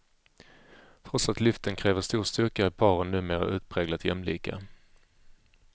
Trots att lyften kräver stor styrka är paren numera utpräglat jämlika.